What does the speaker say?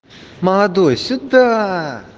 молодой сюда